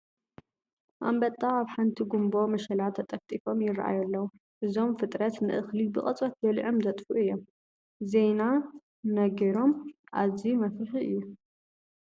ኣንበጣ ኣብ ሓንቲ ጉንቦ መሸላ ተጠፍጢፎም ይርአዩ ኣለዉ፡፡ እዞም ፍጥረት ንእኽሊ ብቕፅበት በሊዖም ዘጥፍኡ እዮም፡፡ ዜና ነገሮም ኣዝዩ መፍርሒ እዩ፡፡